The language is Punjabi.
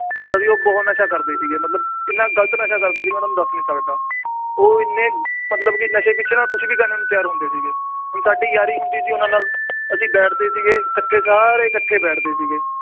ਮਤਲਬ ਵੀ ਉਹ ਬਹੁਤ ਨਸ਼ਾ ਕਰਦੇ ਸੀਗੇ ਮਤਲਬ ਇੰਨਾ ਗ਼ਲਤ ਨਸ਼ਾ ਕਰਦੇ ਸੀਗੇ ਮੈਂ ਤੁਹਾਨੂੰ ਦੱਸ ਨੀ ਸਕਦਾ, ਉਹ ਇੰਨੇ ਮਤਲਬ ਕਿ ਨਸ਼ੇ ਪਿੱਛੇ ਨਾ ਕੁਛ ਵੀ ਕਰਨ ਨੂੰ ਤਿਆਰ ਹੁੰਦੇ ਸੀਗੇ, ਹੁਣ ਸਾਡੀ ਯਾਰੀ ਹੁੰਦੀ ਸੀ ਉਹਨਾਂ ਨਾਲ ਅਸੀਂ ਬੈਠਦੇ ਸੀਗੇ ਇਕੱਠੇ ਸਾਰੇ ਇਕੱਠੇ ਬੈਠਦੇ ਸੀਗੇ